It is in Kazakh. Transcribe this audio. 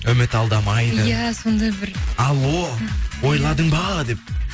үміт алдамайды иә сондай бір алло ойладың ба деп